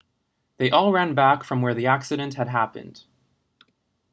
they all ran back from where the accident had happened